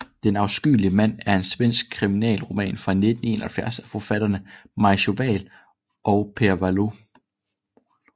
Den afskyelige mand er en svensk kriminalroman fra 1971 af forfatterne Maj Sjöwall og Per Wahlöö